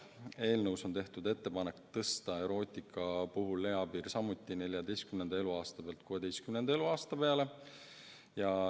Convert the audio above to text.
Eelnõus on tehtud ettepanek tõsta erootika puhul eapiir samuti 14. eluaastalt 16. eluaasta peale.